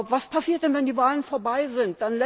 Was passiert denn, wenn die Wahlen vorbei sind?